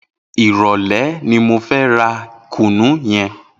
Irọlẹ̀ ni mó fè rà kúnú yèn